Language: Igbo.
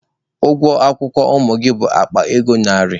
Ụgwọ akwụkwọ ụmụ gị bụ akpa ego narị.